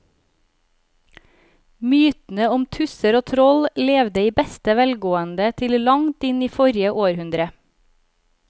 Mytene om tusser og troll levde i beste velgående til langt inn i forrige århundre.